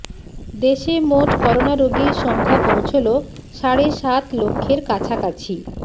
দেশে মোট করোনা রোগীর সংখ্যা পৌঁছল সাড়ে সাত লক্ষের কাছাকাছি